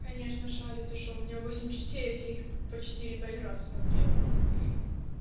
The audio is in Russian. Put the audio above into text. конечно шарит и что у меня восемь частей я все их по четыре пять раз смотрела